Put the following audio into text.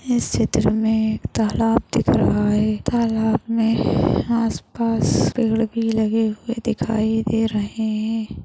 इस चित्र मे एक तालाब दिख रहा है तालाब मे आस पास पेड़ भी लगे हुए दिखाई दे रहे है।